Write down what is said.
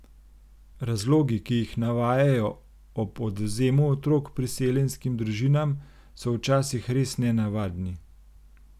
Razlogi, ki jih navajajo ob odvzemu otrok priseljenskim družinam, so včasih res nenavadni.